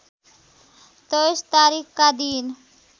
२३ तारिखका दिन